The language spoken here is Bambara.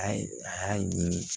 A ye a y'a ɲimi